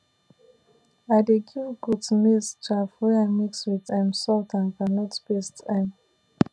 i dey give goat maize chaff wey i mix with um salt and groundnut paste um